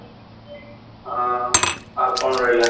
ଆଁ ଆଉ କ'ଣ ରହିଲା?